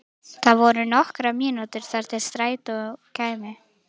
Það voru nokkrar mínútur þar til strætó kæmi.